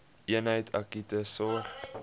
eenheid akute sorg